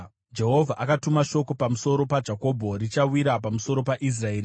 Jehovha akatuma shoko pamusoro paJakobho; richawira pamusoro paIsraeri.